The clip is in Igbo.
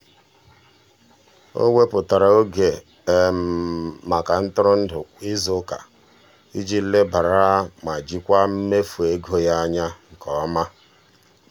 o wepụtara oke maka ntụrụndụ kwa izuụka iji lebara ma jikwaa mmefu ego ya anya nke ọma.